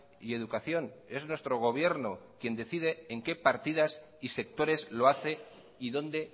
y educación es nuestro gobierno quien decide en qué partidas y sectores lo hace y dónde